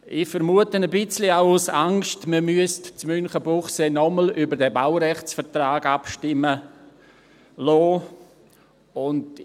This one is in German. Ich vermute, auch aus Angst, dass man in Münchenbuchsee noch einmal über diesen Baurechtsvertrag abstimmen lassen müsste.